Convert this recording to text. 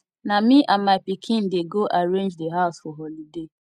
na me and my pikin dey go arrange di house for holiday